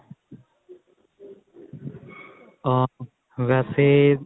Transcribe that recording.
ਆ ਵੈਸੇ